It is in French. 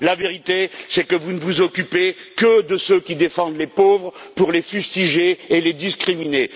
La vérité, c'est que vous ne vous occupez que de ceux qui défendent les pauvres pour les fustiger et les discriminer.